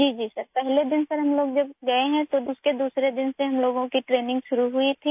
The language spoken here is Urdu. جی سر، پہلے دن سر، ہمارے جانے کے بعد دوسرے دن سے ہماری ٹریننگ شروع ہو گئی